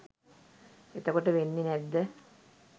එතකොටවෙන්නෙ නැද්ද